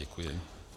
Děkuji.